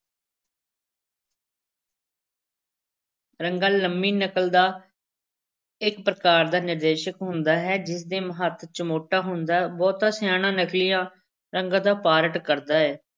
ਰੰਗਾ ਲੰਮੀ ਨਕਲ ਦਾ ਇੱਕ ਪ੍ਰਕਾਰ ਦਾ ਨਿਰਦੇਸ਼ਕ ਹੁੰਦਾ ਹੈ ਜਿਸ ਦੇ ਹੱਥ ਚਮੋਟਾ ਹੁੰਦਾ ਹੈ, ਬਹੁਤਾ ਸਿਆਣਾ ਨਕਲੀਆ ਰੰਗੇ ਦਾ part ਕਰਦਾ ਹੈ।